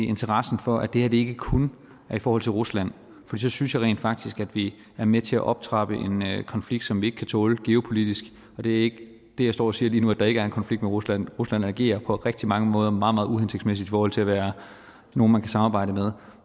interessen for at det her ikke kun er i forhold til rusland for så synes jeg rent faktisk at vi er med til at optrappe en konflikt som vi ikke kan tåle geopolitisk og det er ikke det jeg står og siger lige nu altså at der ikke er en konflikt med rusland rusland agerer på rigtig mange måder meget meget uhensigtsmæssigt i forhold til at være nogle man kan samarbejde med